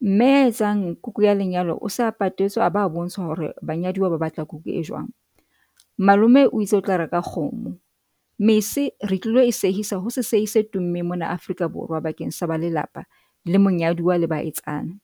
Mme ya etsang kuku ya lenyalo o sa patetswe, a ba bontsha hore banyaduwa ba batla kuku e jwang. Malome o itse otla reka kgomo. Mese re tlilo ho sehisa ho sehi se tummeng mona Afrika Borwa, bakeng sa ba lelapa la monyaduwa monyaduwa le ba etsana.